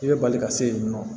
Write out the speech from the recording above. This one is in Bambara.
I bɛ bali ka se yen nɔ